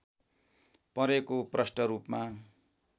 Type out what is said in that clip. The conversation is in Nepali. परेको प्रष्ट रूपमा